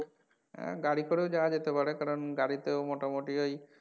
হ্যাঁ গাড়ি করেও যাওয়া যেতে পারে কারন গাড়িতে করে মোটামটি ওই,